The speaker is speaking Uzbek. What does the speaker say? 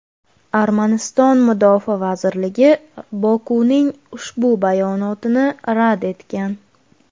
Armaniston Mudofaa vazirligi Bokuning ushbu bayonotini rad etgan.